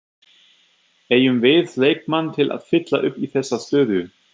Eigum við leikmann til að fylla upp í þessa stöðu?